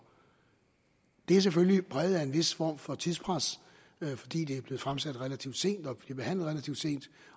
det er selvfølgelig præget af en vis form for tidspres fordi det er blevet fremsat relativt sent og bliver behandlet relativt sent